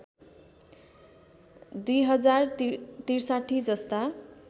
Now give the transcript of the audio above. २०६३ जस्ता